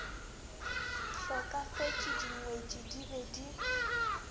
hlokafetše dingwetši di be di